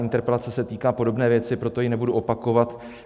Interpelace se týká podobné věci, proto ji nebudu opakovat.